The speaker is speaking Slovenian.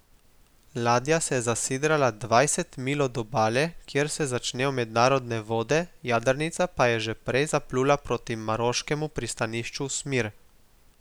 Ladja se je zasidrala dvanajst milj od obale, kjer se začnejo mednarodne vode, jadrnica pa je že prej zaplula proti maroškemu pristanišču Smir.